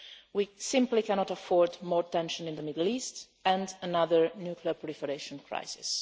We simply cannot afford more tension in the Middle East and another nuclear proliferation crisis.